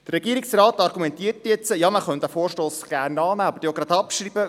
Der Regierungsrat argumentiert, man könne diesen Vorstoss gut annehmen, dann aber sogleich abschreiben.